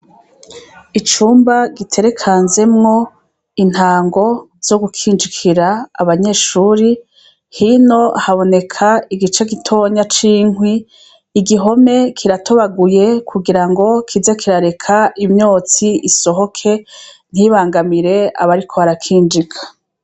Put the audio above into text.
Icumba giterekanzemwo intango zo gukinjikira abanyeshuri, hino haboneka igice gitonya c'inkwi igihome kiratobaguye kugira ngo kize kirareka imyotsi isohoke ntibangamire abariko barakinjika.